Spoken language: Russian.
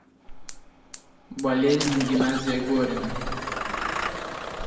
болезнь геннадия горина